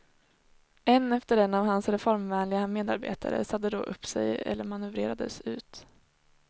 En efter en av hans reformvänliga medarbetare sade då upp sig eller manövrerades ut.